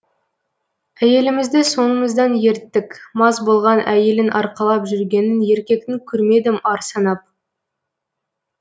әйелімізді соңымыздан ерттік мас болған әйелін арқалап жүргенін еркектің көрмедім ар санап